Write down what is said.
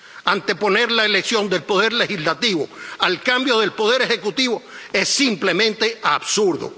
Anteponer la elección del Poder Legislativo al cambio del Poder Ejecutivo es simplemente absurdo.